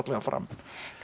fram